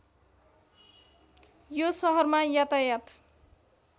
यो सहरमा यातायात